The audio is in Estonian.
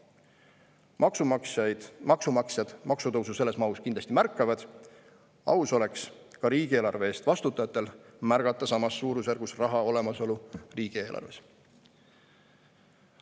Maksumaksjad kindlasti märkavad selles mahus maksutõusu ja aus oleks ka riigieelarve eest vastutajatel märgata samas suurusjärgus raha olemasolu riigieelarves.